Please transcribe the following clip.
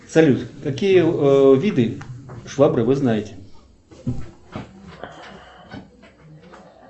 салют какие виды швабры вы знаете